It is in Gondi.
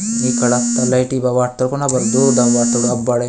ई कड़कता लाईटी बा वाट टेकोन दो डब अबड--